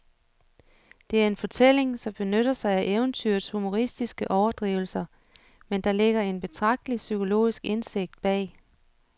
Det er en fortælling, som benytter sig af eventyrets humoristiske overdrivelser, men der ligger en betragtelig psykologisk indsigt bag.